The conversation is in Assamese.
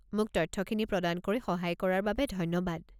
মোক তথ্যখিনি প্ৰদান কৰি সহায় কৰাৰ বাবে ধন্যবাদ।